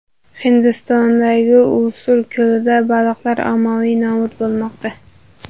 Hindistondagi Ulsur ko‘lida baliqlar ommaviy nobud bo‘lmoqda .